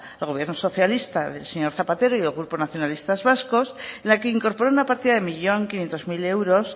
el gobierno socialista del señor zapatero y del grupo nacionalistas vascos en la que incorpora una partida de un millón quinientos mil euros